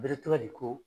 Bere tɔgɔ de ko